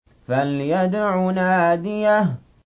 فَلْيَدْعُ نَادِيَهُ